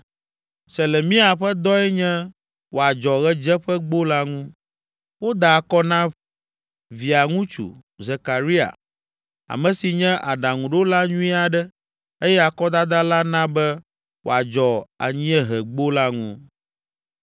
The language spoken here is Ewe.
Selemia ƒe dɔe nye wòadzɔ Ɣedzeƒegbo la ŋu. Woda akɔ na ƒe Via ŋutsu, Zekaria, ame si nye aɖaŋuɖola nyui aɖe eye akɔdada la na be wòadzɔ Anyiehegbo la ŋu.